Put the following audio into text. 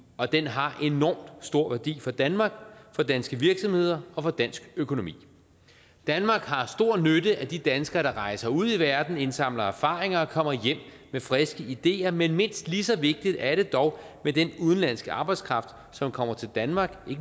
og den har enorm stor værdi for danmark for danske virksomheder og for dansk økonomi danmark har stor nytte af de danskere der rejser ud i verden indsamler erfaringer og kommer hjem med friske ideer men mindst lige så vigtigt er det dog med den udenlandske arbejdskraft som kommer til danmark i